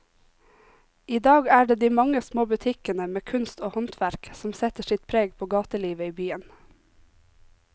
I dag er det de mange små butikkene med kunst og håndverk som setter sitt preg på gatelivet i byen.